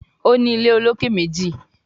O ní ilé olokè méjì